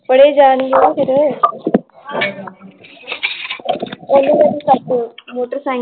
ਫੜੇ ਜਾਣਗੇ ਨਾ ਫਿਰ ਓਹਨੂੰ ਓਹਦੀ ਸਾਈਕਲ ਮੋਟਰਸਾਈਕਲ l